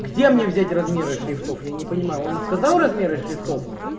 где мне взять размеры шрифтов я не понимаю он сказал размеры шрифтов